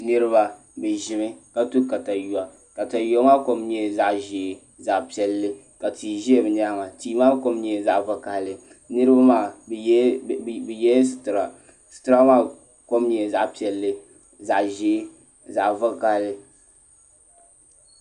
Niraba bi ʒimi ka to katawiya katawiya maa kom nyɛla zaɣ ʒiɛ zaɣ piɛlli ka tia ʒɛ bi nyaanga tia maa kom nyɛla zaɣ vakaɣali niraba maa bi yɛla sitira sitira maa kom nyɛla zaɣ piɛlli zaɣ ʒiɛ zaɣ vakaɣali